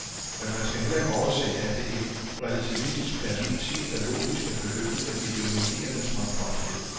Men man skal heller ikke overse at det i et relativistisk perspektiv er logisk at begynde med ideologiernes mangfoldighed.